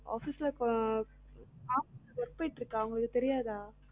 ஆஹ் office ஆமா work போயிட்டு இருக்கா உங்களுக்கு தெரியாதா